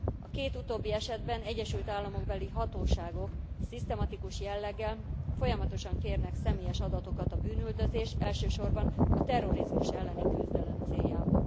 A két utóbbi esetben egyesült államokbeli hatóságok szisztematikus jelleggel, folyamatosan kérnek személyes adatokat a bűnüldözés, elsősorban a terrorizmus elleni küzdelem céljából.